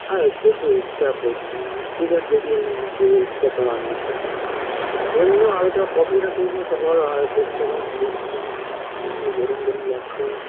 আর খেতে ইচ্ছা করছে না ঠিক আছে দেখি আমি যদি ইচ্ছা করে রান্না করে নেবো এমনি ও হালকা coffee -টা খেয়েছিলাম সকাল বেলা আ পেটটা কেমন করছে এমনি গরম গরম লাগছে